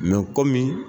kɔmi